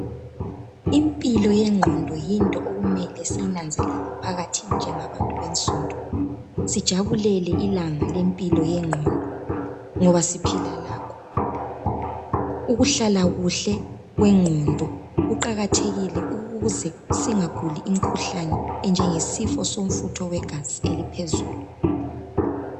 Impilo yegqondo yinto okumele siyinanzelele phakathi njengabantu bensundu sijabulele ilanga lempilo yegqondo ngoba siphila lakho Ukuhlala kuhle kwengqondo kuqakathekile ukuze singaguli imkhuhlane enjenge sifo somfutho wegazi eliphezulu